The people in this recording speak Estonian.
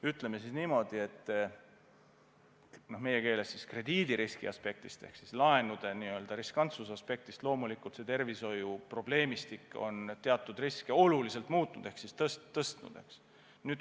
Ütleme siis niimoodi, et meie keeles krediidiriski aspektist ehk siis laenude riskantsuse aspektist loomulikult see tervishoiuprobleemistik on teatud riske oluliselt tõstnud.